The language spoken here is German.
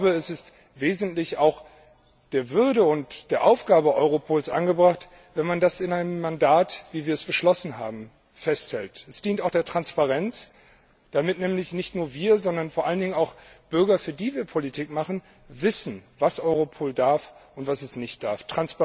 Es ist wesentlich auch der Würde und der Aufgabe Europols angemessen, wenn man das in einem Mandat, wie wir es beschlossen haben, festhält. Es dient auch der Transparenz, damit nämlich nicht nur wir, sondern vor allen Dingen auch die Bürger, für die wir Politik machen, wissen, was Europol darf und was es nicht darf.